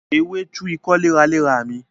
Ewé tu ikọ́ léraléra mi